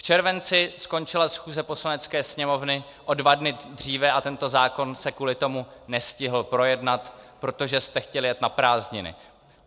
V červenci skončila schůze Poslanecké sněmovny o dva dny dříve a tento zákon se kvůli tomu nestihl projednat, protože jste chtěli jet na prázdniny.